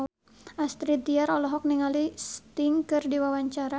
Astrid Tiar olohok ningali Sting keur diwawancara